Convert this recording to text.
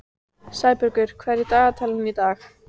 Sæbergur, hvað er í dagatalinu í dag?